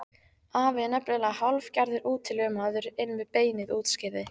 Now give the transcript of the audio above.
Afi er nefnilega hálfgerður útilegumaður inn við beinið útskýrði